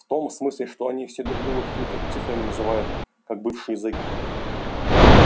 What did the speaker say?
в том смысле что они все друг друга какими-то цифрами называют как бывшие зеки